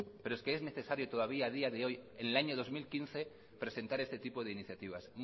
pero es que es necesario todavía a día de hoy en el año dos mil quince presentar este tipo de iniciativas